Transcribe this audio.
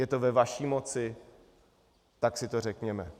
Je to ve vaší moci, tak si to řekněme.